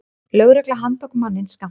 Lögregla handtók manninn skammt frá.